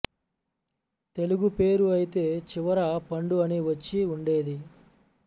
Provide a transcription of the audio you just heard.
తెలుగు పేరు అయితే చివర పండు అని వచ్చి ఉండేది